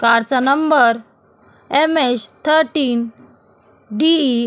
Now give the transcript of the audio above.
कारचा नंबर MH. Thirteen DE. --